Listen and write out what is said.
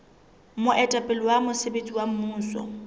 moetapele wa mosebetsi wa mmuso